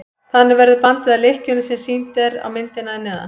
þannig verður bandið að lykkjunni sem sýnd er á myndinni að neðan